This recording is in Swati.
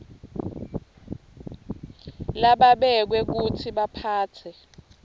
lababekwe kutsi baphatse